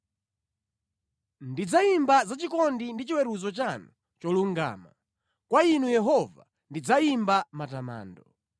Ndidzayimba za chikondi ndi chiweruzo chanu cholungama; kwa Inu Yehova ndidzayimba matamando.